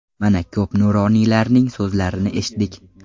Mana, ko‘p nuroniylarning so‘zlarini eshitdik.